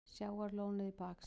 Sjávarlónið í baksýn.